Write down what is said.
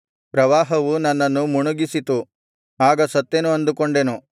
ಪ್ರವಾಹವು ನನ್ನನ್ನು ಮುಣುಗಿಸಿತು ಆಗ ಸತ್ತೆನು ಅಂದುಕೊಂಡೆನು